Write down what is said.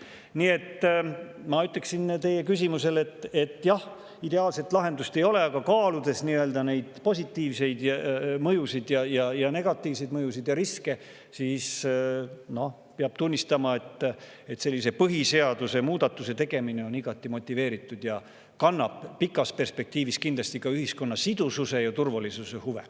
Nii et ma teie küsimusele, et jah, ideaalset lahendust ei ole, aga kaaludes neid positiivseid mõjusid ja negatiivseid mõjusid ja riske, peab tunnistama, et sellise põhiseadusemuudatuse tegemine on igati motiveeritud ja kannab pikas perspektiivis kindlasti ka ühiskonna sidususe ja turvalisuse huve.